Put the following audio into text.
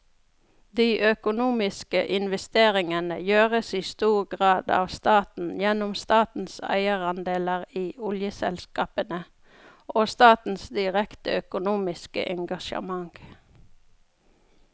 De økonomiske investeringene gjøres i stor grad av staten gjennom statens eierandeler i oljeselskapene og statens direkte økonomiske engasjement.